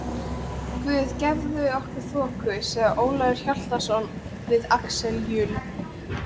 Guð gefi okkur þoku, sagði Ólafur Hjaltason við Axel Jul.